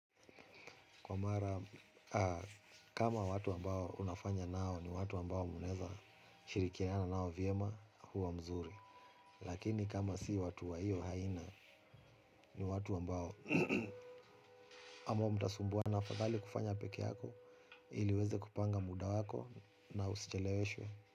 Kwa mara kama watu ambao unafanya nao ni watu ambao muneza shirikiana nao viema huwa mzuri. Lakini kama si watu wa hiyo haina ni watu ambao ama mtasumbuana afathali kufanya peke yako ili uweze kupanga muda wako na usicheleweshwe.